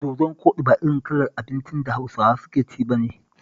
Dodon koɗi ba irin kalar abincin da Hausawa suke ci ba ne